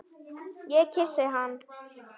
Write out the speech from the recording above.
Ég kyssi hann.